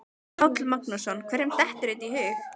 Páll Magnússon: Hverjum dettur þetta í hug?